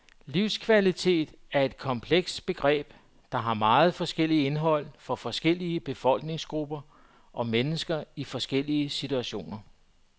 Livskvalitet er et komplekst begreb, der har meget forskelligt indhold for forskellige befolkningsgrupper og mennesker i forskellige situationer.